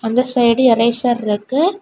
இந்த side eraser இருக்கு.